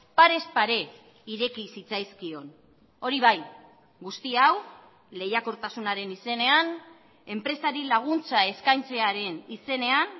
parez pare ireki zitzaizkion hori bai guzti hau lehiakortasunaren izenean enpresari laguntza eskaintzearen izenean